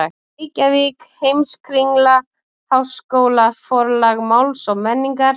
Reykjavík: Heimskringla- Háskólaforlag Máls og menningar.